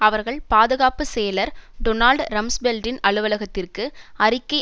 அவர்கள் பாதுகாப்பு செயலர் டொனால்ட் ரம்ஸ்பெல்டின் அலுவலகத்திற்கு அறிக்கை